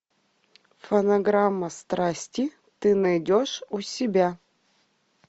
фонограмма страсти ты найдешь у себя